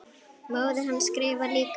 Móðir hans skrifar líka.